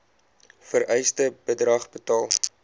vereiste bedrag betaal